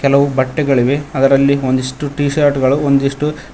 ಹಲವು ಬಟ್ಟೆಗಳಿವೆ ಅದರಲ್ಲಿ ಒಂದಿಷ್ಟು ಟಿಶರ್ಟ್ ಗಳು ಒಂದಿಷ್ಟು--